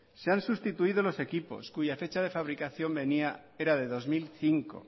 se han sustituido los equipos cuya fecha de fabricación era de dos mil cinco